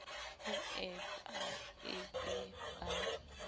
ho ewp e be ba